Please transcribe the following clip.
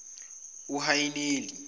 uhaniyeli